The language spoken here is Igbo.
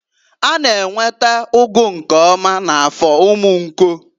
A na-enweta ụgụ nke ọma na Afọ Umunko.